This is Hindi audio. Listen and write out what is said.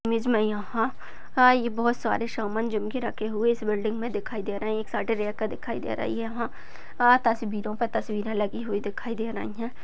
इमेज मे यहा बहुत सारे सामान जिम के रखे हुए है। इस बिल्डिंग मे दिखाई दे रहे है। आ तस्वीरो पे तस्वीरे लगी दिखाई दे रही है।